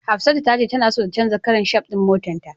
Hafsatu tace tana so ta canja karan shaf din motarta.